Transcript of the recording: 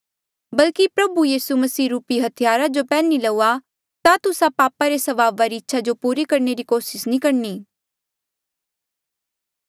बल्की प्रभु यीसू मसीह रूपी हथियार जो पैन्ही लऊआ ता तुस्सा पाप रे स्वभावा री इच्छा जो पूरी करणे री कोसिस नी करणी